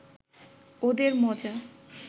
ওদের মজা